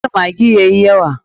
Kar maggi yayi yawa.